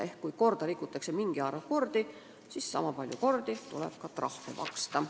Lihtsalt kui korda rikutakse mingi arv kordi, siis sama palju kordi tuleb ka trahvi maksta.